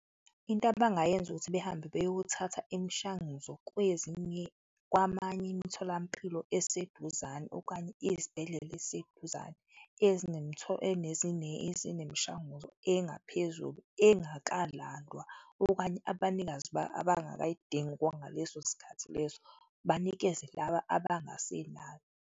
Into abangayenza ukuthi behambe beyothatha imishanguzo kwezinye, kwamanye imitholampilo eseduzane okanye izibhedlela eziseduzane ezinemishanguzo engaphezulu engakalandwa okanye abanikazi abangakayidingi ngaleso sikhathi leso, banikeze laba abangasenakho.